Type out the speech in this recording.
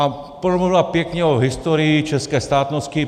A promluvila pěkně o historii české státnosti.